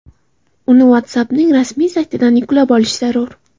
Uni WhatsApp’ning rasmiy saytidan yuklab olish zarur.